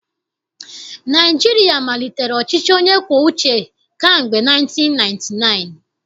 Naịjirịa malitere ọchịchị onye kwuo uche kamgbe 1999